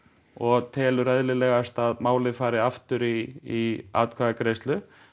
og telur eðlilegast að málið fari aftur í í atkvæðagreiðslu